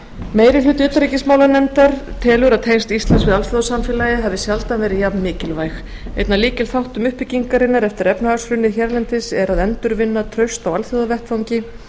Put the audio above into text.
hluti utanríkismálanefndar telur að tengsl íslands við alþjóðasamfélagið hafi sjaldan verið jafnmikilvæg einn af lykilþáttum uppbyggingarinnar eftir efnahagshrunið hérlendis er að endurvinna traust á alþjóðavettvangi